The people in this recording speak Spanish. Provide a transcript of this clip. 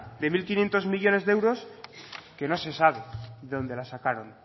de mil quinientos millónes de euros que no se sabe de dónde la sacaron